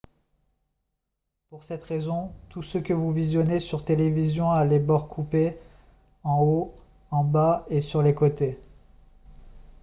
pour cette raison tout ce que vous visionnez sur télévision a les bords coupés en haut en bas et sur les côtés